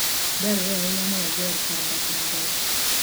Dwarore ahinya ni wager kar dak maber.